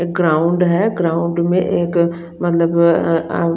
ground है ground में एक मत्ल्ल्ब अ अ --